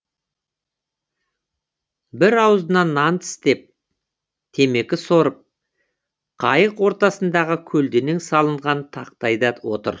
бірі аузына нан тістеп темекі сорып қайық ортасындағы көлденең салынған тақтайда отыр